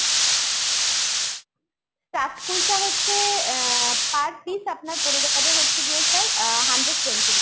stuffed kulcha হচ্ছে এ ah per piece আপনার পরে যাবে হচ্ছে গিয়ে sir ah hundred twenty rupees।